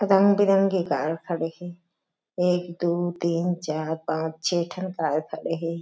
रंग-बिरंगे कार खड़े हे एक दो तीन चार पाँच छे ठन कार खड़े हे।